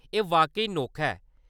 एह्‌‌ वाकई नोखा ऐ।